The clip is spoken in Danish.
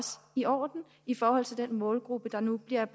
i orden i forhold til den målgruppe der nu bliver